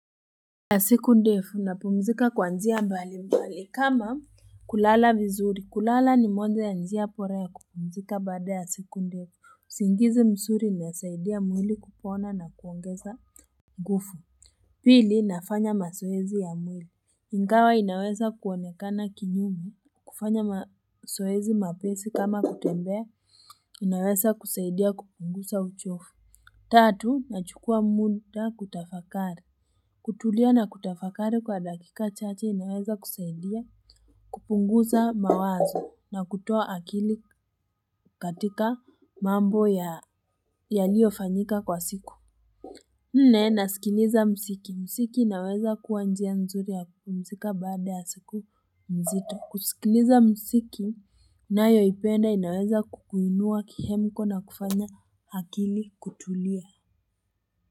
Ya siku ndefu napumzika kwanzia mbali mbali kama kulala vizuri kulala ni moja ya njia pora ya kupumzika bade ya siku ndefu usingizi msuri ni unsaidia mwili kupona na kuongeza ngufu Pili nafanya masoezi ya mwili Ingawa inaweza kuoanekana kinyume kufanya masoezi mapesi kama kutembea inaweza kusaidia kupungusa uchofu Tatu na chukua munda kutafakari kutulia na kutafakari kwa dakika chache inaweza kusaidia. Kupunguza mawazo na kutoa akili katika mambo yaliyo fanyika kwa siku. Nne nasikiliza musiki. Musiki inaweza kuwa njia nzuri ya kupumzika baada ya siku mzito. Kusikiliza musiki ninayoipenda inaweza kukuinua kihemiko na kufanya akili kutulia.